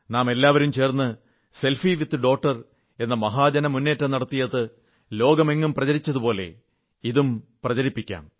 നമ്മളെല്ലാവരും ചേർന്ന് selfie with daughter എന്ന മഹാ ജനമുന്നേറ്റം നടത്തിയത് ലോകമെങ്ങും പ്രചരിച്ചതുപോലെ ഇതും പ്രചരിപ്പിക്കാം